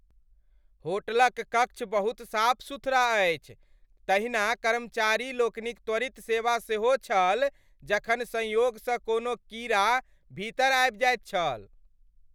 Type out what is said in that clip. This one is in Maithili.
होटलक क कक्ष बहुत साफ सुथरा अछि, तहिना कर्मचारीलोकनिक त्वरित सेवा सेहो छल जखन संयोगसँ कोनो कीड़ा भीतर आबि जाइत छल।